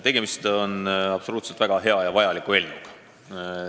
Tegemist on absoluutselt väga hea ja vajaliku eelnõuga.